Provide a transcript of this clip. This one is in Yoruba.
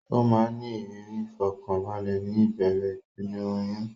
Ó máa ń ní ìrírí ìfọ̀kànbalẹ̀ ní ìbẹ̀rẹ̀ ìpele oyún.